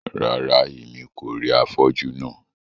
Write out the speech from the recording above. Rárá, Èmí kò rí afọju náà